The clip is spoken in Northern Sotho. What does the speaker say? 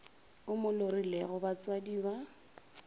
o mo lorilego batswadi ba